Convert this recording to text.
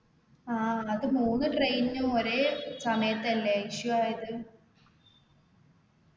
ആ അത് മൂന്നു train ഉം ഒരേ സമയത്തല്ലേ issue ആയത്